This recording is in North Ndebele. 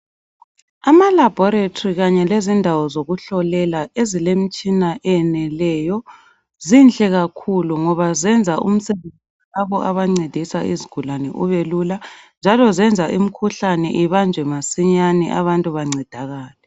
Amalaboratory kanye lezindawo zokuhlolela ezilemitshina eyeneleyo zinhle kakhulu ngoba zenza umsebenzi lapho abancedisa izigulane ubelula njalo zenza imkhuhlane ibanjwe masinyane abantu bancedakale.